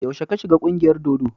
Yaushe ka shiga ƙungiyar dodo?